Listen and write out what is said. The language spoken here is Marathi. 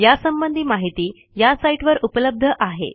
यासंबंधी माहिती या साईटवर उपलब्ध आहे